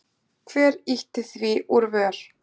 Hver ýtti því úr vör?